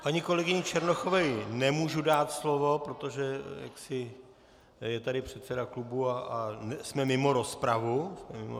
Paní kolegyni Černochové nemůžu dát slovo, protože je tady předseda klubu a jsme mimo rozpravu.